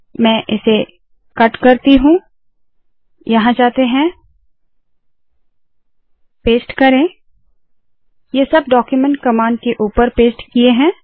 मैं इसे कट करती हूँ यहाँ जाते है पेस्ट करे ये सब डाक्यूमेन्ट कमांड के ऊपर पेस्ट किए है